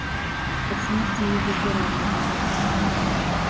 от смерти не выздоравливают